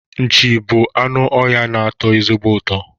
Nchi bụ anụ ọhịa na-atọ ezigbo ụtọ